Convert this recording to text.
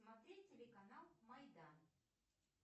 смотреть телеканал майдан